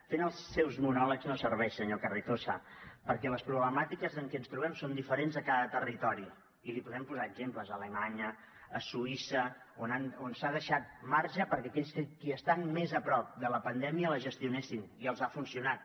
fent els seus monòlegs no serveix senyor carrizosa perquè les problemàtiques amb què ens trobem són diferents a cada territori i li podem posar exemples a alemanya a suïssa on s’ha deixat marge perquè aquells que estan més a prop de la pandèmia la gestionessin i els ha funcionat